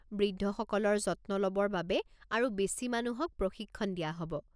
বৃদ্ধসকলৰ যত্ন ল'বৰ বাবে আৰু বেছি মানুহক প্ৰশিক্ষণ দিয়া হ'ব।